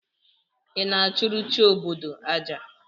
Ị na-achụrụ chi obodo aja?